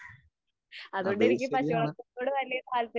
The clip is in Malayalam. അതും ശരിയാണ്.